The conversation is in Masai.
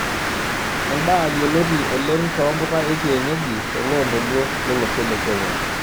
Endaa yioloti oleng too mpuka ekienyeji toloondoluo lolosho le kenya.